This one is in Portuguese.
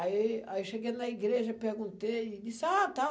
Aí, aí cheguei na igreja, perguntei e disse, ah, tá.